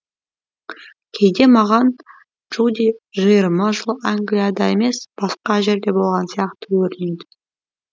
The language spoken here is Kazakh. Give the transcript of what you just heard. кейде маған джуди жиырма жыл англияда емес басқа жерде болған сияқты көрінеді